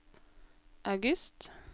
august